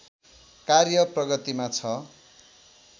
कार्य प्रगतिमा छ